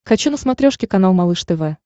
хочу на смотрешке канал малыш тв